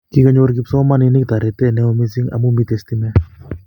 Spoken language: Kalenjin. Kikonyor kipsomaninik torite neo mising amu mito stimet